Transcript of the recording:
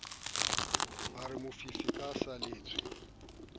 a re mofifi ke saletswe